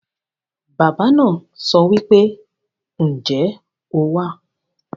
Baba naa sowipe, "Nje o wa?"